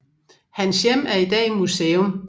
Hans hjem er i dag museum